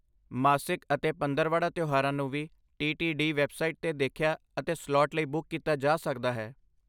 ਮਾਸਿਕ ਅਤੇ ਪੰਦਰਵਾੜਾ ਤਿਉਹਾਰਾਂ ਨੂੰ ਵੀ ਟੀਟੀਡੀ ਵੈੱਬਸਾਈਟ 'ਤੇ ਦੇਖਿਆ ਅਤੇ ਸਲਾਟ ਲਈ ਬੁੱਕ ਕੀਤਾ ਜਾ ਸਕਦਾ ਹੈ।